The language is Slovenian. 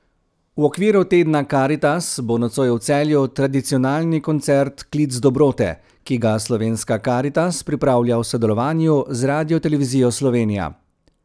V okviru tedna Karitas bo nocoj v Celju tradicionalni koncert Klic dobrote, ki ga Slovenska karitas pripravlja v sodelovanju z Radiotelevizijo Slovenija.